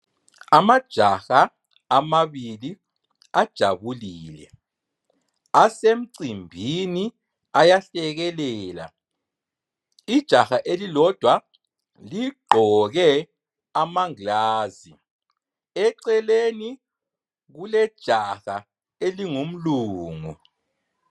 Amajaha amabili ajabulile, asemcimbini ayahlekelela. Ijaha elilodwa ligqoke amangilazi, eceleni kulejaha elingumlungu.